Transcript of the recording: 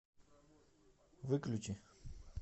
выключи